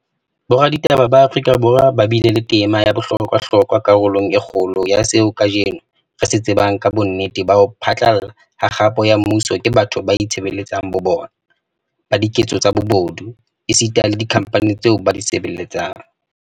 Boraditaba ba Afrika Borwa ba bile le tema ya bohlokwa hlokwa karolong e kgolo ya seo kajeno re se tsebang ka bonnete ba ho phatlalla ha kgapo ya mmuso ke batho ba itshebeletsang bo bona, ba diketso tsa bobodu, esita le dikhamphani tseo ba di sebeletsang.